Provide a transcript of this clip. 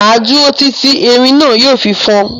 Máa dúró tìti tí erin náà yìí ó fi fọn.